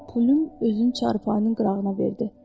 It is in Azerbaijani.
Pülüm özünü çarpayının qırağına verdi.